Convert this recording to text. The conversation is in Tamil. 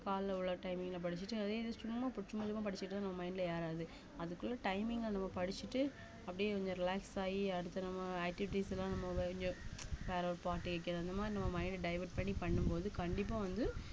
காலைல உள்ள timing ல படிச்சுட்டு அதே இது சும்மா ப~ சும்மா சும்மா படிச்சுட்டு நம்ம mind ல ஏறாது அதுக்குள்ள timing ல நம்ம படிச்சுட்டு அப்டியே கொஞ்சம் relax ஆயி அடுத்த நம்ம activities லாம் நம்ம வே~ கொஞ்சம் வேற ஒரு பாட்டு கேக்கறது அந்த மாதிரி நம்ம mind அ divert பண்ணி பண்ணும் போது கண்டிப்பா வந்து